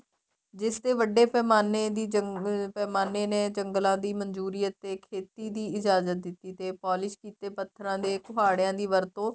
ਜਿਸ ਦੇ ਵੱਡੇ ਪੈਮਾਨੇ ਦੀ ਪੈਮਾਨੇ ਦੀ ਜੰਗਲਾ ਦੀ ਮਨਜੂਰੀ ਅਤੇ ਖੇਤੀ ਦੀ ਇਜਾਜ਼ਤ ਦਿੱਤੀ ਤੇ ਪੋਲਿਸ ਕੀਤੇ ਪੱਥਰਾ ਦੇ ਕੁਹਾੜਿਆ ਦੀ ਵਰਤੋ